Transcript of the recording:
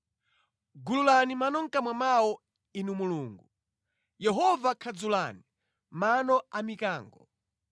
Gululani mano mʼkamwa mwawo, Inu Mulungu, Yehova khadzulani mano a mikango!